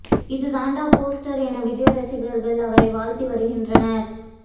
இது தாண்டா போஸ்டர் என விஜய் ரசிகர்கள் அவரை வாழ்த்தி வருகின்றனர்